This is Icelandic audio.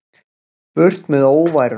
Burt með óværuna.